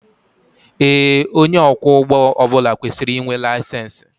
Ee onye ọkwọ ụgbọ ọbula kwesịrị ịnwe layisensi